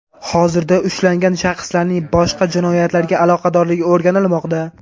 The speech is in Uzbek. Hozirda ushlangan shaxslarning boshqa jinoyatlarga aloqadorligi o‘rganilmoqda.